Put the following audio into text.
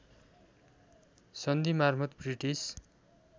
सन्धि माफर्त ब्रिटिस